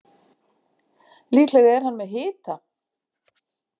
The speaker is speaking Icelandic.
Líklega er hann með hita.